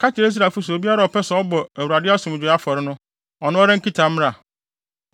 “Ka kyerɛ Israelfo se obiara a ɔpɛ sɛ ɔbɔ Awurade asomdwoe afɔre no, ɔno ara nkita mmra.